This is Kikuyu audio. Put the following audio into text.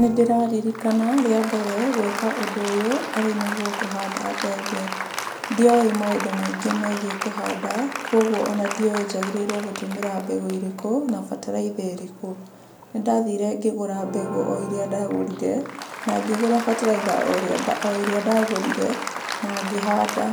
Nĩndĩraririkana rĩa mbere gwĩka ũndũ ũyũ arĩ nĩguo kũhanda mbembe, ndiowĩ maũndũ maingĩ megiĩ kũhanda, koguo ona ndiowĩ njagĩrĩiirwo gũtũmĩra mbembe irĩkũ na bataraitha ĩrĩkũ. Nĩndathire ngĩgũra mbegũ o iria ndagũrire, na ngĩgũra bataraitha o ĩrĩa ndagũrire na ngĩhanda.